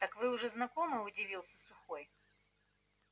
а так вы уже знакомы удивился сухой